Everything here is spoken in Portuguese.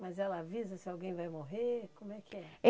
Mas ela avisa se alguém vai morrer, como é que é?